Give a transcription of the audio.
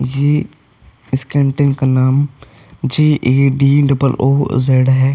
ये इस कैंटिंग का नाम J A D double O Z है।